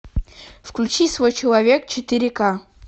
включи свой человек четыре к